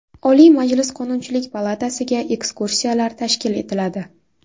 Oliy Majlis Qonunchilik palatasiga ekskursiyalar tashkil etiladi.